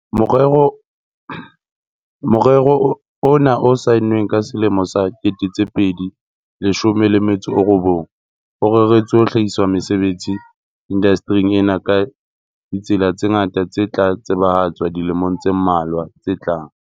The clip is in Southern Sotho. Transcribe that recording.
Morero ona o saennweng ka selemo sa 2019, o reretswe ho hlahisa mesebetsi indaste ring ena ka ditsela tse ngata tse tla tsebahatswa dilemong tse mmalwa tse tlang.